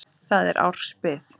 Þar er árs bið.